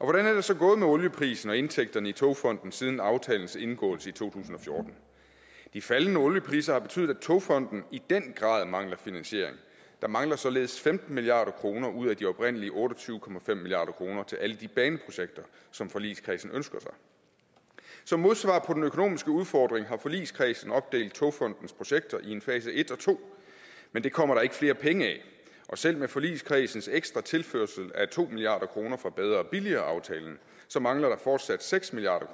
hvordan er det så gået med olieprisen og indtægterne i togfonden dk siden aftalens indgåelse i 2014 de faldne oliepriser har betydet at togfonden i den grad mangler finansiering der mangler således femten milliard kroner ud af de oprindelige otte og tyve milliard kroner til alle de baneprojekter som forligskredsen ønsker sig som modsvar på den økonomiske udfordring har forligskredsen opdelt togfonden dks projekter i en fase et og to men det kommer der ikke flere penge af og selv med forligskredsens ekstra tilførsel af to milliard kroner fra bedre og billigere aftalen mangler der fortsat seks milliard